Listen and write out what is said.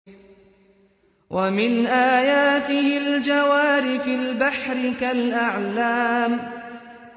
وَمِنْ آيَاتِهِ الْجَوَارِ فِي الْبَحْرِ كَالْأَعْلَامِ